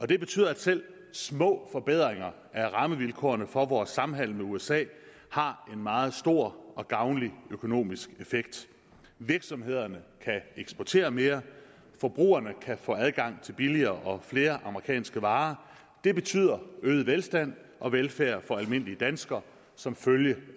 det betyder at selv små forbedringer af rammevilkårene for vores samhandel med usa har en meget stor og gavnlig økonomisk effekt virksomhederne kan eksportere mere og forbrugerne kan få adgang til billigere og flere amerikanske varer det betyder øget velstand og velfærd for almindelige danskere som følge